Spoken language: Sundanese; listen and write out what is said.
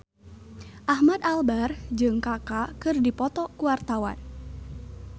Ahmad Albar jeung Kaka keur dipoto ku wartawan